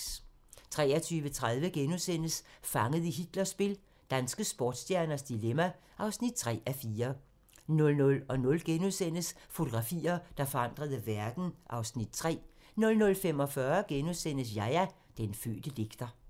23:30: Fanget i Hitlers spil - danske sportsstjernes dilemma (3:4)* 00:00: Fotografier, der forandrede verden (Afs. 3)* 00:45: Yahya - den fødte digter *